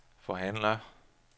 forhandler